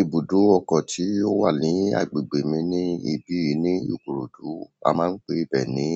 Ibùdó ọkọ̀ tí ó wà ní agbègbè mi ní ibi ní Ikorodu. A máa ń pè ibẹ̀ ni